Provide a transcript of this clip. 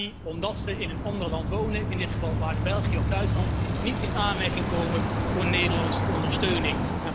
Maar die, omdat ze in een ander land wonen, in dit geval vaak België of Duitsland, niet in aanmerking komen voor Nederlandse ondersteuning.